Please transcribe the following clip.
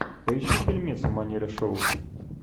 поищи фильмец в манере шоу